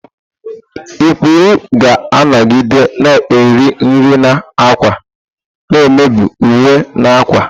ikpuru ga-anọgide na-eri nri na ákwà, na-emebi uwe na akwa.